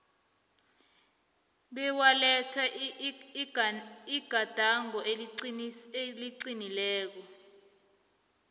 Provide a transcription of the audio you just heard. bewaletha igadango eliqinileko